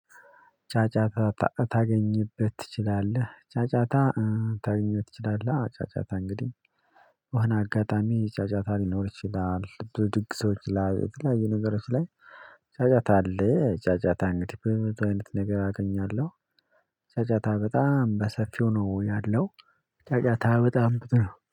ጫጫታ ታገኝበት ትችላለህ። ጫጫታ ታገኝበት ትችላለህ። ጫጫታ እንግዲህ በሆነ አጋጣሚ ጫጫታ ሊኖር ይችላል ብድግሶች ላይ የተለያየ ነገሮች ላይ ጫጫታ አለ። ጫጫታ እንግዲህ በዚህ አይነት ነገር አገኛለሁ። ጫጫታ በጣም በሰፊው ነው ያለው። ጫጫታ በጣም ብዙ ነው